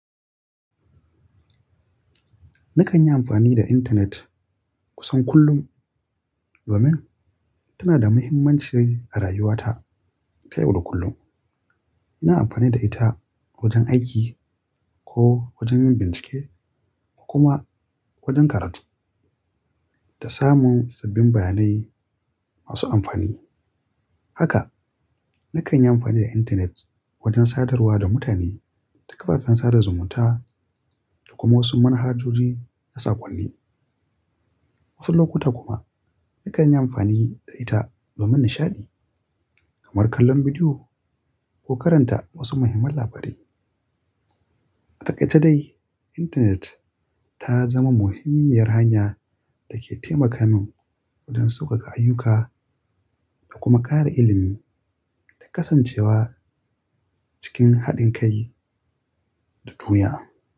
Nakan yi amfani da intanet kusan kullum domin tana da mahimmanci a rayuwata ta yau da kullum. Ina amfani da ita wajen aiki ko wajen yin bincike kuma wajen karatu da samun sabbin bayanai masu amfani. Haka nakan yi amfani da intanet wajen sadarwa da mutane ta kafafen sada zumunta da kuma wasu manhajoji na saƙonni. Wasu lokuta kuma nakan yi amfani da ita domin nishaɗi kamar kallon bidiyo ko karanta wasu muhimman labarai. A takaice dai, intanet ta zama muhimmiyar hanya da ke taimaka min wajen sauƙaƙa ayyuka da kuma ƙara ilimi da kasancewa cikin haɗin kai duk duniya.